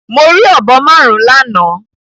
Mo rí ọ̀bọ márùn-ún lánàá.